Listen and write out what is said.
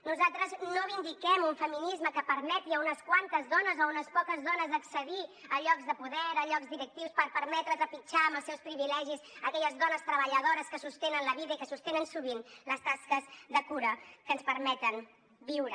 nosaltres no vindiquem un feminisme que permeti a unes quantes dones o a unes poques dones accedir a llocs de poder a llocs directius per permetre trepitjar amb els seus privilegis aquelles dones treballadores que sostenen la vida i que sostenen sovint les tasques de cura que ens permeten viure